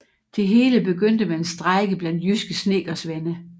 Det hele begyndte med en strejke blandt jyske snedkersvende